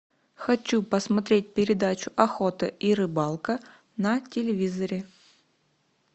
хочу посмотреть передачу охота и рыбалка на телевизоре